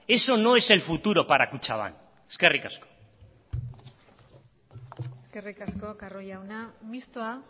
eso no es el futuro para kutxabank eskerrik asko eskerrik asko carro jauna mistoa